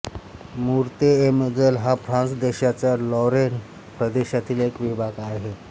Meurthe-et-Moselle हा France देशाच्या Lorraine प्रदेशातील एक विभाग आहे